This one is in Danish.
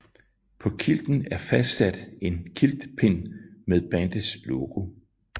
På kilten er fastsat en kilt pin med bandets logo